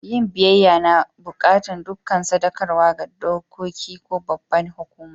Yin biyyaya na buƙatan ɗukan sadakarwa ga doƙoki ko babban hukuma.